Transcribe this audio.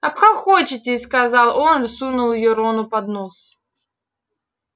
обхохочетесь сказал он и сунул её рону под нос